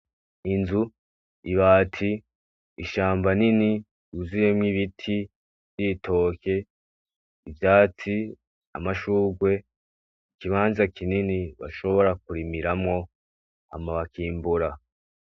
Inzu, ibati ishamba rinini ryuzuyemwo ibiti nibitoke , ivyatsi amashurwe, ikibanza kinini bashobora kurimiramwo hama bakimbura .